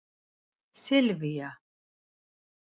Silvía